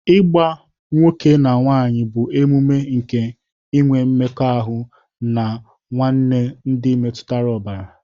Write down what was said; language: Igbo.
Ịgba nwoke na nwanyị bụ omume nke inwe mmekọahụ na nwanne ndị metụtara ọbara.